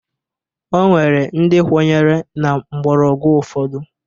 O nwere ndị kwenyere na mgbọrọgwụ ụfọdụ